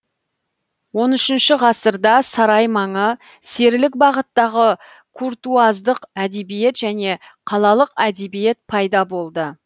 он үшінші ғасырда сарай маңы серілік бағыттағы куртуаздық әдебиет және қалалық әдебиет пайда болды